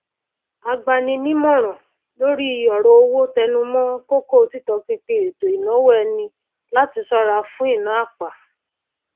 agba ni nímòràn lórí òrò owó tẹnumó kókó títọpinpin ètò ìnáwó ẹni láti sóra fún ìná àpà